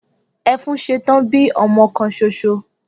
Efúnsetán bí ọmọ kan soso